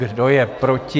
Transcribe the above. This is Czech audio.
Kdo je proti?